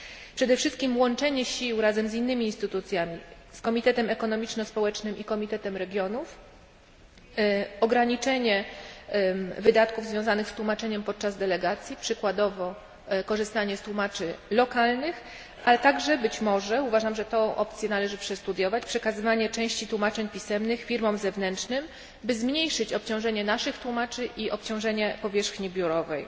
Przede wszystkim chodzi o łączenie sił razem z innymi instytucjami, z Komitetem Ekonomiczno Społecznym i Komitetem Regionów, ograniczenie wydatków związanych z tłumaczeniem podczas delegacji, przykładowo korzystanie z tłumaczy lokalnych, ale także, być może uważam, że tę opcję należy przestudiować przekazywanie części tłumaczeń pisemnych firmom zewnętrznym, by zmniejszyć obciążenie naszych tłumaczy i obciążenie powierzchni biurowej.